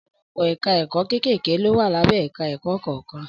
Ọ̀pọ̀lọpọ̀ ẹ̀ka ẹ̀kọ́ kéékèèké ló wà lábẹ́ ẹ̀ka ẹ̀kọ́ kọ̀ọ̀kan